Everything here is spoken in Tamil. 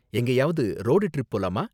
எங்கேயாவது ரோடு ட்ரிப் போலாமா?